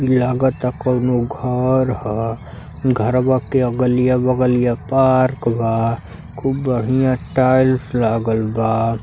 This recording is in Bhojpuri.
ई लागाता कौनो घर ह। घरवां के अगलिया-बगलिया पार्क बा। खूब बढ़िया टाइल्स लागल बा।